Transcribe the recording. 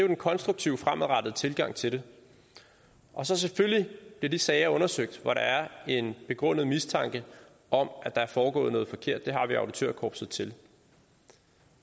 den konstruktive fremadrettede tilgang til det og selvfølgelig bliver de sager undersøgt hvor der er en begrundet mistanke om at der er foregået noget forkert det har vi auditørkorpset til